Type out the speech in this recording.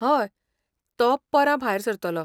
हय, तो परां भायर सरतलो.